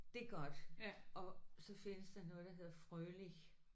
Det er godt. Og så findes der noget der hedder Froelich